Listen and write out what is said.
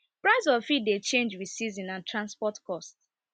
price of feed dey change with season and transport cost